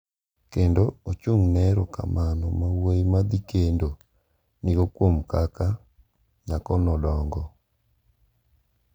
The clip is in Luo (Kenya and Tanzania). Kendo ochung’ ne erokamano ma wuoyi ma dhi kendo nigo kuom kaka nyako nodongo.